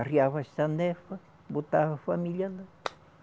Arriava a sanefa, botava a família ia lá.